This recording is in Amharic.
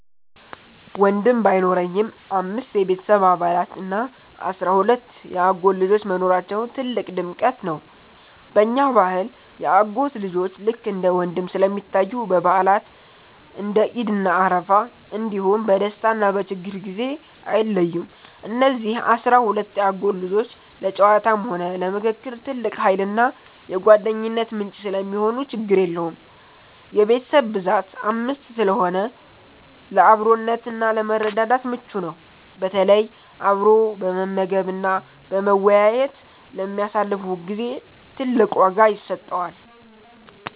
ወንድም ባይኖረኝም፣ አምስት የቤተሰብ አባላት እና አሥራ ሁለት የአጎት ልጆች መኖራቸው ትልቅ ድምቀት ነው። በእኛ ባህል የአጎት ልጆች ልክ እንደ ወንድም ስለሚታዩ፣ በበዓላት (እንደ ዒድ እና አረፋ) እንዲሁም በደስታና በችግር ጊዜ አይለዩም። እነዚህ አሥራ ሁለት የአጎት ልጆች ለጨዋታም ሆነ ለምክክር ትልቅ ኃይልና የጓደኝነት ምንጭ ሰለሚሆኑ ችግር የለውም። የቤተሰብ ብዛት 5 ስለሆነ ለአብሮነትና ለመረዳዳት ምቹ ነው፤ በተለይ አብሮ በመመገብና በመወያየት ለሚያሳልፉት ጊዜ ትልቅ ዋጋ ይሰጠዋል።